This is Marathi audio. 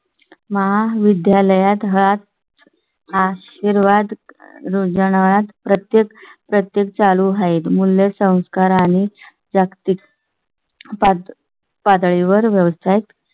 महाविद्यालयात हात आशीर्वाद रोज नात प्रत्येक प्रत्येक चालू आहेत. मूल्य संस्कार आणि जागतिक. पाच पातळीवर व्यावसायिक